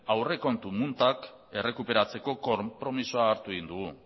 aurrekontu muntak errekuperatzeko konpromisoa hartu egin dugu